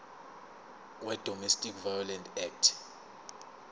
wedomestic violence act